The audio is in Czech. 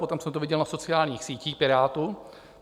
Potom jsem to viděl na sociálních sítích Pirátů.